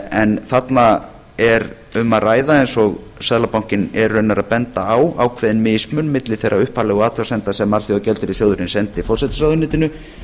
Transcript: en þarna er um að ræða eins og seðlabankinn er raunar að benda á ákveðin mismun milli þeirra upphaflegu athugasemda sem alþjóðagjaldeyrissjóðurinn sendi forsætisráðuneytinu